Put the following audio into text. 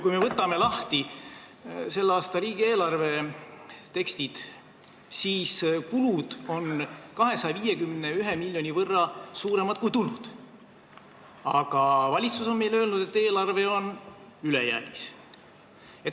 Kui me võtame lahti selle aasta riigieelarve teksti, siis näeme, et kulud on 251 miljoni võrra suuremad kui tulud, aga valitsus on meile öelnud, et eelarve on ülejäägis.